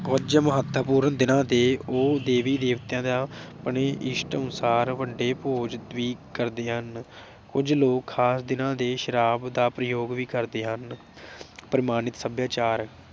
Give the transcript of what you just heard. ਕੁਝ ਮਹੱਤਵਪੂਰਨ ਦਿਨਾਂ ਦੇ ਉਹ ਦੇਵੀ ਦੇਵਤਿਆਂ ਦਾ ਆਪਣੇ ਇਸ਼ਟ ਅਨੁਸਾਰ ਵੱਡੇ ਭੋਜ ਵੀ ਕਰਦੇ ਹਨ। ਕੁਝ ਲੋਕ ਖਾਸ ਦਿਨਾਂ ਤੇ ਸ਼ਰਾਬ ਦਾ ਪ੍ਰਯੋਗ ਵੀ ਕਰਦੇ ਹਨ।